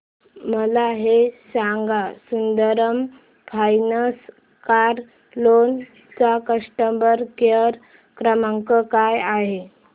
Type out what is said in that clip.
मला हे सांग सुंदरम फायनान्स कार लोन चा कस्टमर केअर क्रमांक काय आहे